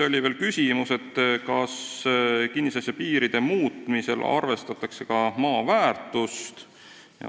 Oli veel küsimus, kas kinnisasja piiride muutmisel arvestatakse ka maa väärtust.